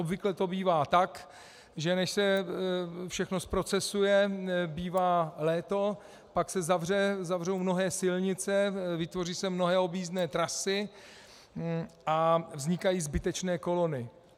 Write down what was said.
Obvykle to bývá tak, že než se všechno zprocesuje, bývá léto, pak se zavřou mnohé silnice, vytvoří se mnohé objízdné trasy a vznikají zbytečné kolony.